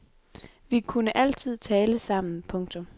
Vi kunne altid tale sammen. punktum